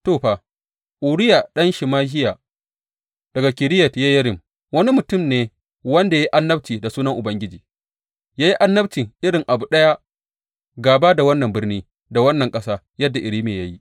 To, fa, Uriya ɗan Shemahiya daga Kiriyat Yeyarim wani mutum ne wanda ya yi annabci da sunan Ubangiji; ya yi annabci irin abu ɗaya gāba da wannan birni da wannan ƙasa yadda Irmiya ya yi.